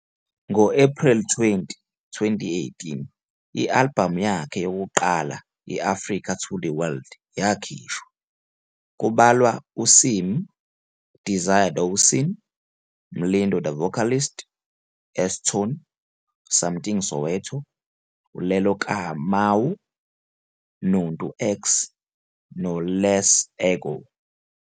Ngo-Ephreli 20, 2018, i-albhamu yakhe yokuqala i- "Africa To The World" yakhishwa kulandwa uSimmy, Desiree Dawson, Mlindo the Vocalist, S-Tone, Samthing Soweto, Lelo Kamau, Nontu X, Les-Ego.